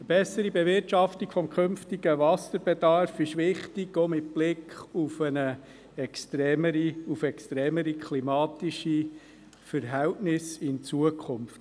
Eine bessere Bewirtschaftung des künftigen Wasserbedarfs ist wichtig, auch mit Blick auf extremere klimatische Verhältnisse in Zukunft.